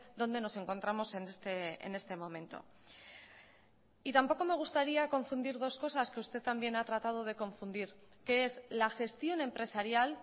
dónde nos encontramos en este momento y tampoco me gustaría confundir dos cosas que usted también ha tratado de confundir que es la gestión empresarial